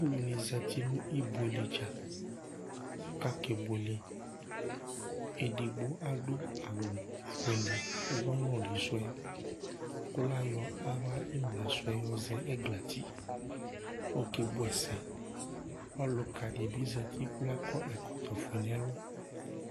Alʋɛdìní zɛti nʋ ibʋele dza kʋ akebʋele Ɛdigbo adu awu fʋele ʋwɔ nʋli su yɛ kʋ layɔ aɣla imla sʋɛ yɔ zɛ ɛgla ti: ɔkebʋ ɛsɛ Ɔluka dibi zɛti kʋ la kɔ ɛkɔtɔ fʋe nʋ ɛlu